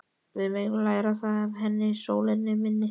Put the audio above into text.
Við megum læra það af henni, sólin mín.